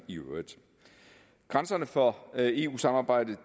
grænserne for eu samarbejdet